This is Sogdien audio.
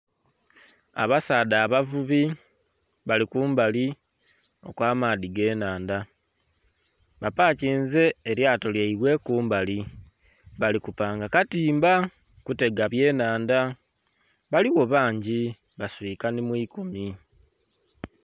Abasaadha abavubi bali kumbali okw'amaadhi g'ennhandha. Bapakinze elyato lyaibwe kumbali. Bali kupanga katimba kutega byenhanda. Baligho bangi baswika nhi mu ikumi.